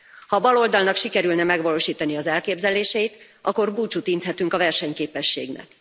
Ha a baloldalnak sikerülne megvalósítani az elképzeléseit, akkor búcsút inthetünk a versenyképességnek.